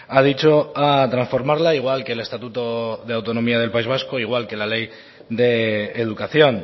ha dicho a transformarla igual que el estatuto de autonomía del país vasco igual que la ley de educación